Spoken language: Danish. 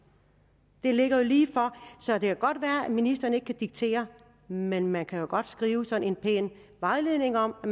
det ligger jo lige for så det kan godt være at ministeren ikke kan diktere men men man kan jo godt skrive sådan en pæn vejledning om at